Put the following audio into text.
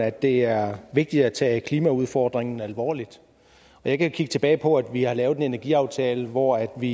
at det er vigtigt at tage klimaudfordringen alvorligt og jeg kan kigge tilbage på at vi har lavet en energiaftale hvor vi